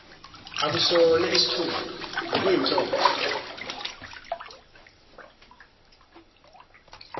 akasona isithutha bekuyinhloso